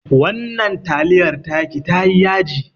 Wannan taliyar taki tayi yaji